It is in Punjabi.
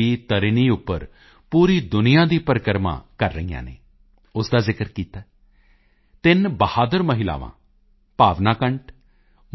ਤਰਿਣੀ ਆਈਐਨਐਸਵੀ ਤਰੀਨੀ ਉੱਪਰ ਪੂਰੀ ਦੁਨੀਆਂ ਦੀ ਪਰਿਕਰਮਾ ਕਰ ਰਹੀਆਂ ਨੇ ਉਸ ਦਾ ਜ਼ਿਕਰ ਕੀਤਾ ਹੈ ਤਿੰਨ ਬਹਾਦਰ ਮਹਿਲਾਵਾਂ ਭਾਵਨਾ ਕੰਠ